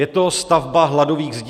Je to stavba hladových zdí?